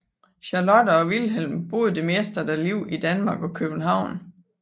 Charlotte og Wilhelm boede det meste af deres liv i Danmark og København